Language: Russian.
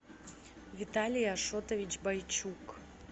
виталий ашотович бойчук